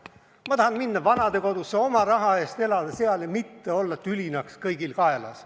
Mina tahan minna vanadekodusse, oma raha eest seal elada ja mitte olla tülinaks kõigil kaelas.